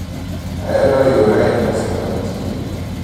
Ahero riwra e nyasi mag chiro.